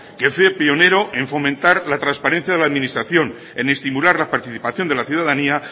que fue pionero en fomentar la transparencia en la administración en estimular la participación de la ciudadanía